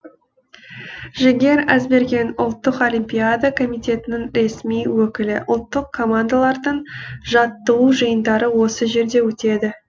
жігер әзберген ұлттық олимпиада комитетінің ресми өкілі ұлттық командалардың жаттығу жиындары осы жерде өтеді